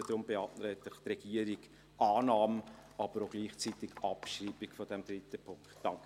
Deshalb beantragt die Regierung Annahme und gleichzeitig Abschreibung des dritten Punkts.